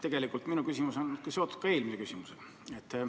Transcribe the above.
Tegelikult on minu küsimus eelmise küsimusega seotud.